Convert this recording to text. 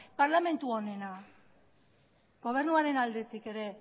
parlamentu honena gobernuaren aldetik ere